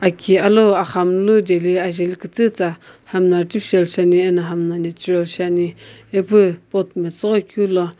Aki alou axamunu jeli ajeli kütüta hami artificial shiani hami natural ipu pot metsughoi keu lo.